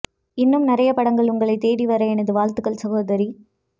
இன்னும் நிறைய படங்கள் உங்களை தேடி வர எனது வாழ்த்துகள் சகோதரி